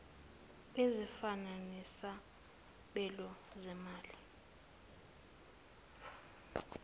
ezifana nesabelo zimali